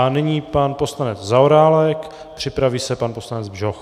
A nyní pan poslanec Zaorálek, připraví se pan poslanec Bžoch.